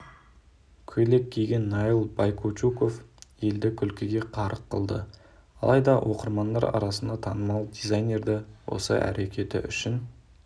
көйлек киген наиль байкучуков елді күлкіге қарық қылды алайда оқырмандар арасында танымал дизайнерді осы әрекеті үшін